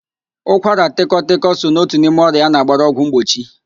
Ụkwaratịkọtịkọ so na otu n'ime ọrịa a na-agbara ọgwụ mgbochi